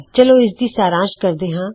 ਚਲੋ ਇਸਦੀ ਵਿਸਥਾਰ ਵਿੱਚ ਜਾਣਕਾਰੀ ਲੈਣਦੇ ਹਾਂ